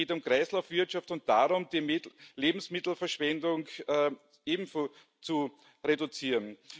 Es geht um Kreislaufwirtschaft und darum, die Lebensmittelverschwendung ebenso zu reduzieren.